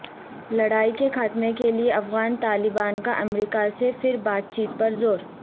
لڑائی کے خاتمے کے لیے افغان طالبان کا امریکہ سے پھر بات چیت پر زور